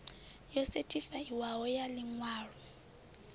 yo sethifaiwaho ya ḽi ṅwalo